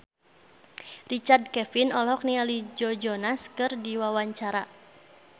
Richard Kevin olohok ningali Joe Jonas keur diwawancara